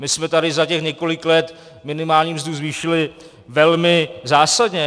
My jsme tady za těch několik let minimální mzdu zvýšili velmi zásadně.